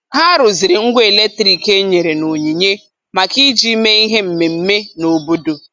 Ha rụziri ngwa eletrik e nyere n'onyinye maka iji mee ihe mmemme n' obodo.